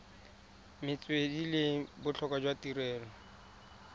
metswedi le botlhokwa jwa tirelo